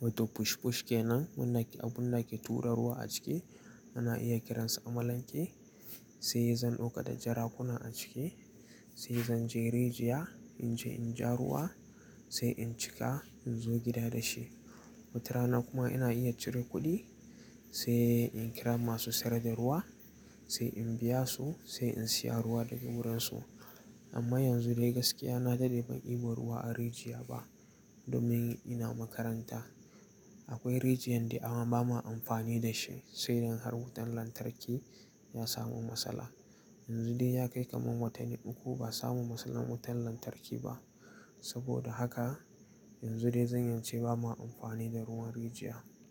wato push-push kenan wanda ake tura ruwa a ciki. Ana iya kiransa Amalanke, sai zan ɗauka da jarakuna a ciki, sai zan je rijiya in je in ja ruwa sai in cika in zo gida da shi. Wata rana kuma ina iya cire kuɗi sai in kira masu sayar da ruwa sai in biya su sai in siya ruwa daga wurinsu. Amma yanzu dai gaskiya na dade ban ibu ruwa a rijiya ba domin ina makaranta. Akwai rijiya indai amma bamu amfani da shi sai in har wutan lantarki ya samu matsala. Yanzu dai ya kai kamar watanni uku ba samu matsalar wutan lantarki ba. Saboda haka yanzu dai zan yi ce bamu amfani da ruwan rijiya.